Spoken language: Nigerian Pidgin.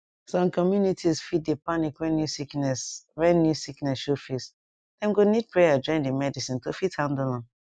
some communities fit dey panic when new sickness when new sickness show face dem go need prayer join di medicine to fit handle am